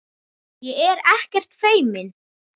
Ég er ekkert feimin.